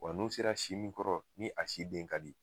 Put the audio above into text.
Wa n'u sera si mun kɔrɔ ni a si den ka di.